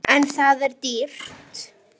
En það er dýrt.